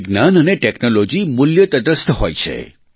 વિજ્ઞાન અને ટેકનોલોજી મૂલ્ય તટસ્થ હોય છે